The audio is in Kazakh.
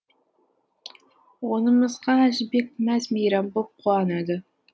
онымызға әжібек мәз мейрам боп қуанады